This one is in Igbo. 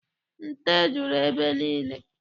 Nte juru ebe niile.